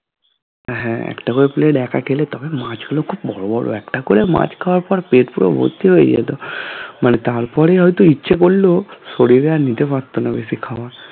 হ্যাঁ একটা করে plate একা খেলে তবে মাছ গুলো খুব বড়ো বড়ো এখন তো মাছ খাওয়ার পর পেট পুরো ভর্তি হয়ে যায় তো মানে তারপরে হয়তো ইচ্ছে করলেও শরীর আর নিতে পারতো না বেশি খাওয়ার